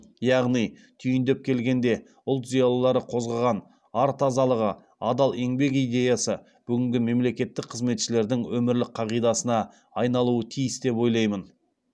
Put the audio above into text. яғни түйіндеп келгенде ұлт зиялылары қозғаған ар тазалығы адал еңбек идеясы бүгінгі мемлекеттік қызметшілердің өмірлік қағидасына айналуы тиіс деп ойлаймын